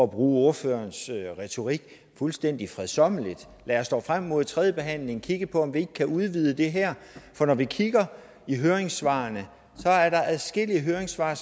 bruge ordførerens retorik fuldstændig fredsommeligt lad os dog frem mod tredjebehandlingen kigge på om ikke vi kan udvide det her for når vi kigger i høringssvarene er der adskillige høringssvar